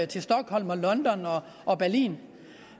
til stockholm london og berlin